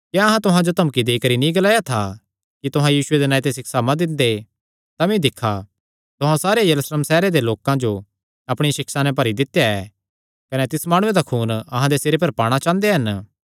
क्या अहां तुहां जो धमकी देई करी नीं ग्लाया था कि तुहां यीशुये दे नांऐ ते सिक्षा मत दिंदे तमी दिक्खा तुहां सारे यरूशलेम सैहरे दे लोकां जो अपणिया सिक्षा नैं भरी दित्या ऐ कने तिस माणुये दा खून अहां दे सिरे पर पाणा चांह़दे हन